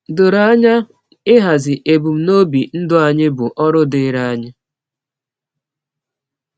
Doro anya, ịhazi ebumnobi ndụ anyị bụ ọrụ dịịrị anyị.